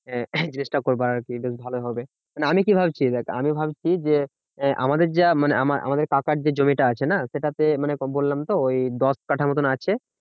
আহ জিনিসটা করবো আর কি বেশ ভালোই হবে। মানে আমি কি ভাবছি? দেখ আমি ভাবছি যে, আমাদের যা মানে আমা~আমাদের কাকার যে জমিটা আছে না? সেটা তে মানে বললাম তো ওই দশ কাটা মতো আছে।